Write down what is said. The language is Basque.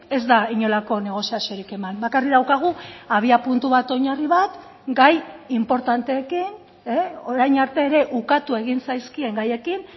ez da inolako negoziaziorik eman bakarrik daukagu abiapuntu bat oinarri bat gai inportanteekin orain arte ere ukatu egin zaizkien gaiekin